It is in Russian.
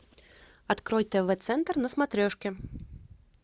открой тв центр на смотрешке